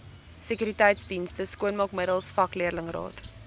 sekuriteitsdienste skoonmaakmiddels vakleerlingraad